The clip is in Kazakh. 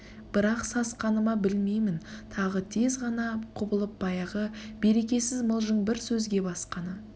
бірақ сасқаны ма білмеймін тағы тез ғана құбылып баяғы берекесіз мылжың бір сөзге басқаны